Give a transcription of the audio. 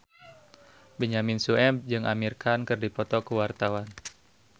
Benyamin Sueb jeung Amir Khan keur dipoto ku wartawan